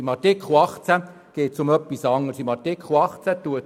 In Artikel 18 geht es um etwas anderes: